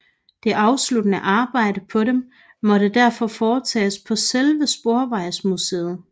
Det afsluttende arbejde på dem måtte derfor foretages på selve Sporvejsmuseet